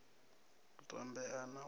u tambea na u sa